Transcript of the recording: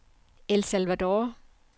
El Salvador